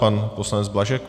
Pan poslanec Blažek.